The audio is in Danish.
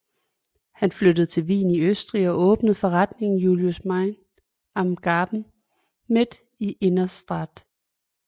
Han flyttede til Wien i Østrig og åbnede forretningen Julius Meinl am Graben midt i Innere Stadt